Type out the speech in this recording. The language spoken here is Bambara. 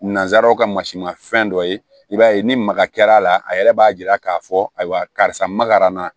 Nanzaraw ka masi ma fɛn dɔ ye i b'a ye ni maga kɛra a la a yɛrɛ b'a yira k'a fɔ ayiwa karisa makarana na